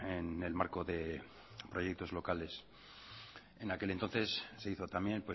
en el marco de proyectos locales en aquel entonces se hizo también